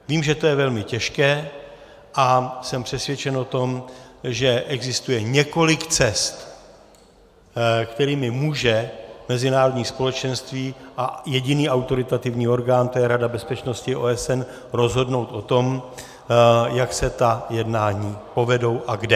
Vím, že to je velmi těžké, a jsem přesvědčen o tom, že existuje několik cest, kterými může mezinárodní společenství a jediný autoritativní orgán, to je Rada bezpečnosti OSN, rozhodnout o tom, jak se ta jednání povedou a kde.